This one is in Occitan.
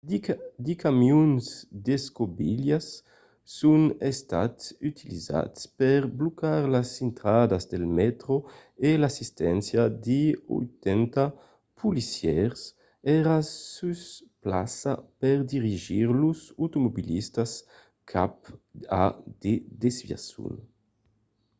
de camions d'escobilhas son estats utilizats per blocar las intradas del mètro e l'assisténcia de 80 policièrs èra sus plaça per dirigir los automobilistas cap a de desviacions